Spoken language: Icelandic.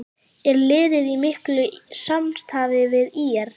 Er liðið í miklu samstarfi við ÍR?